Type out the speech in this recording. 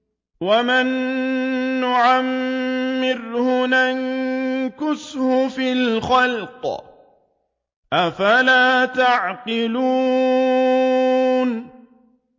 وَمَن نُّعَمِّرْهُ نُنَكِّسْهُ فِي الْخَلْقِ ۖ أَفَلَا يَعْقِلُونَ